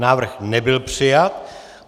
Návrh nebyl přijat.